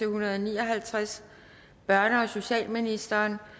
hundrede og ni og halvtreds børne og socialministeren